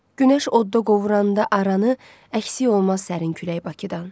Günəş odda qovuranda aranı, əksi olmaz sərin külək Bakıdan.